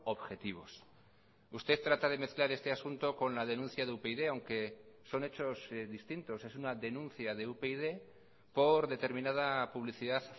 objetivos usted trata de mezclar este asunto con la denuncia de upyd aunque son hechos distintos es una denuncia de upyd por determinada publicidad